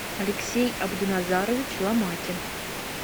алексей абдуназарович ломакин